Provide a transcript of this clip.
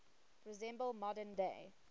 resemble modern day